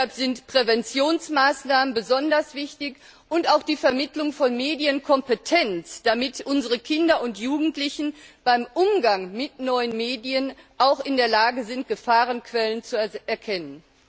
Deshalb sind Präventionsmaßnahmen besonders wichtig, und auch die Vermittlung von Medienkompetenz, damit unsere Kinder und Jugendlichen beim Umgang mit neuen Medien auch in der Lage sind, Gefahrenquellen zu erkennen.